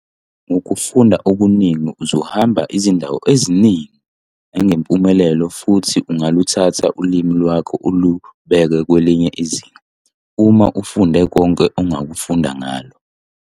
Ngokufunda okuningi uzohamba izindawo eziningi!' nangempumelelo futhi ungaluthatha ulimo lwakho ulubeke kwelinye izinga - uma ufunde konke ongakufunda ngalo.